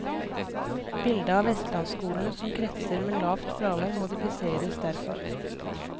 Bildet av vestlandsskolene som kretser med lavt fravær modifiseres derfor.